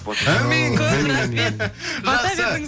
әумин көп рахмет жақсы